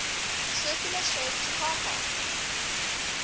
circular shape chakrakar